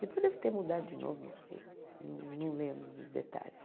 Depois deve ter mudado de novo, não sei, não lembro dos detalhes.